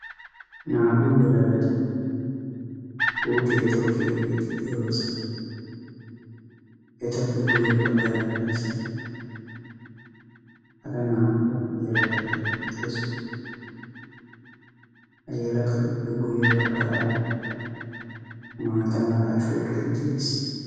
Naa''u yelagati puutiya tokkiyaageeti de'oosona. eta guyye baggara qassi hara naa''u yelagati eqqidoosona. ha yelaguppe guyye baggara maata mala ashooray de'ees.